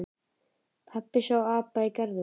Pabbi sá apa í garðinum.